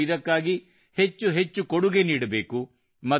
ನಾವು ಇದಕ್ಕಾಗಿ ಹೆಚ್ಚು ಹೆಚ್ಚು ಕೊಡುಗೆ ನೀಡಬೇಕು